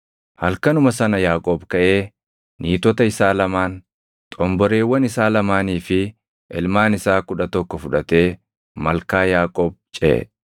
Halkanuma sana Yaaqoob kaʼee niitota isaa lamaan, xomboreewwan isaa lamaanii fi ilmaan isaa kudha tokko fudhatee malkaa Yaaboq ceʼe.